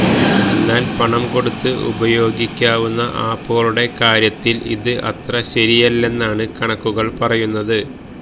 എന്നാല് പണം കൊടുത്ത് ഉപയോഗിക്കാവുന്ന ആപ്പുകളുടെ കാര്യത്തില് ഇത് അത്ര ശരിയല്ലെന്നാണ് കണക്കുകള് പറയുന്നത്